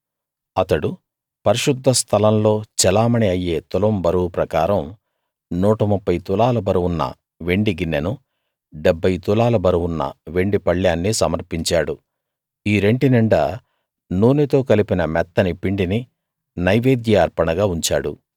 అతడు పరిశుద్ధ స్థలంలో చెలామణీ అయ్యే తులం బరువు ప్రకారం 130 తులాల బరువున్న వెండి గిన్నెనూ 70 తులాల బరువున్న వెండి పళ్ళేన్నీ సమర్పించాడు ఈ రెంటి నిండా నూనెతో కలిపిన మెత్తని పిండిని నైవేద్య అర్పణగా ఉంచాడు